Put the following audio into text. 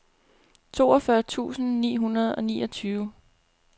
toogfyrre tusind ni hundrede og niogtyve